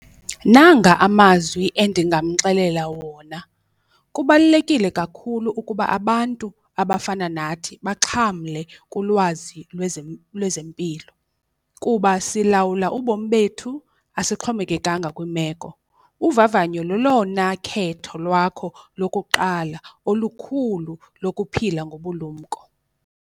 Nanga amazwi endingamxelela wona kubalulekile kakhulu ukuba abantu abafana nathi baxhamle kulwazi lezempilo. Kuba silawula ubomi bethu asixhomekekanga kwiimeko, uvavanyo lolona khetho lwakho lokuqala olukhulu lokuphila ngobulumko.